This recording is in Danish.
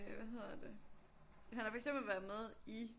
Øh hvad hedder det han har for eksempel været med i